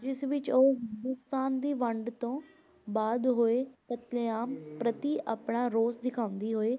ਜਿਸ ਵਿੱਚ ਉਹ ਹਿੰਦੁਸਤਾਨ ਦੀ ਵੰਡ ਤੋਂ ਬਾਅਦ ਹੋਏ ਕਤਲੇਆਮ ਪ੍ਰਤੀ ਆਪਣਾ ਰੋਸ ਦਿਖਾਉਂਦੇ ਹੋਏ,